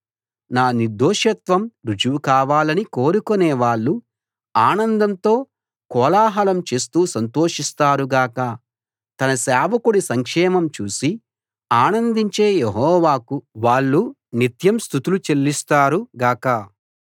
నా నిర్దోషత్వం రుజువు కావాలని కోరుకునే వాళ్ళు ఆనందంతో కోలాహలం చేస్తూ సంతోషిస్తారు గాక తన సేవకుడి సంక్షేమం చూసి ఆనందించే యెహోవాకు వాళ్ళు నిత్యం స్తుతులు చెల్లిస్తారు గాక